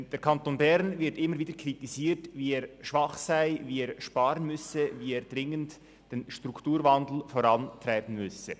Der Kanton Bern wird immer wieder kritisiert, wie schwach er sei und wie er sparen und den Strukturwandel vorantreiben müsse.